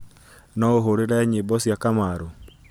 no ũhũũre nyĩmbo cia kamaru